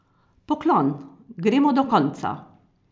Poklon, gremo do konca!